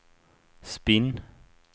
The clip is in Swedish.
spinn